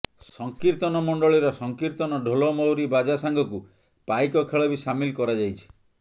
ସଂକୀର୍ତନ ମଣ୍ଡଳୀର ସଂକୀର୍ତନ ଢ଼ୋଲମହୁରୀ ବାଜା ସାଙ୍ଗକୁ ପାଇକ ଖେଳ ବି ସାମିଲ କରାଯାଇଛି